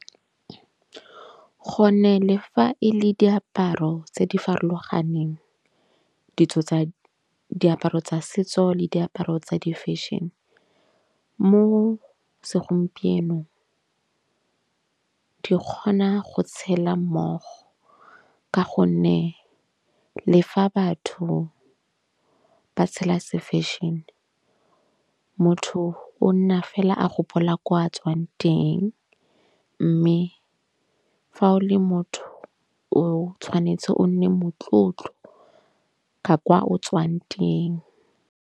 Go ne le fa e le diaparo tse di farologaneng. Ditso tsa diaparo tsa setso le diaparo tsa di-fashion mo segompienong. Ke kgona go tshela mmogo. Ka gonne le fa batho ba tshela se-fashion-e. Motho o nna fela a gopola ko a tswang teng. Mme fa o le motho o tshwanetse o nne motlotlo ka kwa o tswang teng.